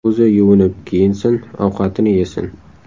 O‘zi yuvinib kiyinsin, ovqatini yesin.